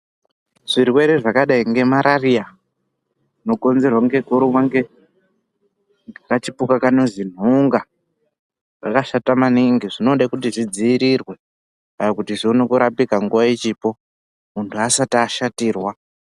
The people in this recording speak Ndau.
Zvirwere zvakadai ngemarariya zvinokonzerwe ngekurumwa ngekachipuka kanozi nhunga zvakashata maningi zvinoda kuti zvidziirirwe kuti zvione kurapika nguwa ichipo muntu asati ashatirwa.